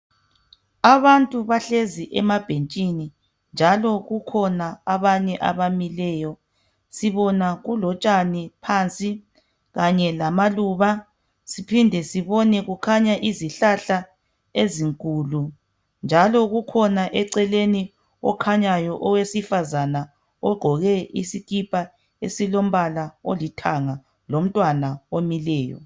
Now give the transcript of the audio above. Abantu bahlezi emabhentshini njalo kukhona abanye abamileyo , sibona kulotshani phansi kanye lamaluba siphinde sibone kukhanya izihlahla ezinkulu njalo kukhona eceleni okhanyayo owesifazane ogqoke isikipa esilombala olithanga lomtwana omileyo